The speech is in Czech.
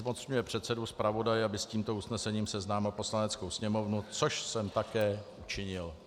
Zmocňuje předsedu zpravodaje, aby s tímto usnesením seznámil Poslaneckou sněmovnu - což jsem také učinil.